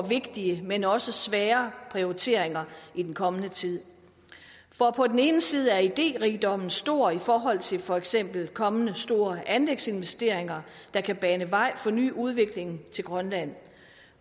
vigtige men også svære prioriteringer i den kommende tid for på den ene side er idérigdommen stor i forhold til for eksempel kommende store anlægsinvesteringer der kan bane vej for ny udvikling til grønland